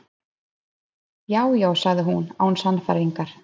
Já, já- sagði hún án sannfæringar.